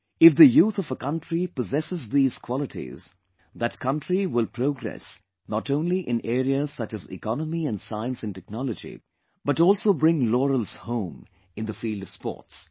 If the youth of a country possess these qualities, that country will progress not only in areas such as Economy and Science & Technology but also bring laurels home in the field of sports